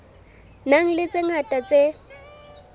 nang le tse ngata tse